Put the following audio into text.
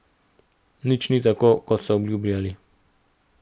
Nič ni tako, kot so obljubljali.